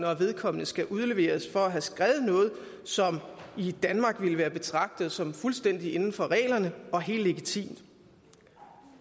at vedkommende skal udleveres for at have skrevet noget som i danmark ville være betragtet som fuldstændig inden for reglerne og helt legitimt